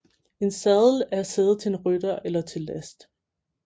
En sadel er sæde til en rytter eller til last